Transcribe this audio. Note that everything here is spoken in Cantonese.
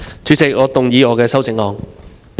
主席，我動議我的修正案。